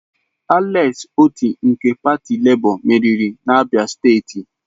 Alex Otti nke pati Labour meriri n'Abia steeti